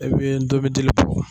I bɛ ndomidili bɔ.